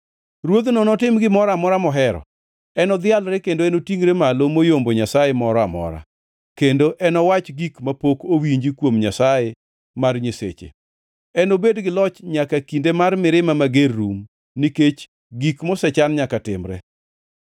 “Ruodhno notim gimoro amora mohero. Enodhialre kendo enotingʼre malo moyombo nyasaye moro amora, kendo enowach gik mapok owinji kuom Nyasaye mar nyiseche. Enobed gi loch nyaka kinde mar mirima mager rum, nikech gik mosechan nyaka timre.